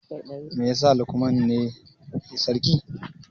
Me yasa Lukman ne sarki?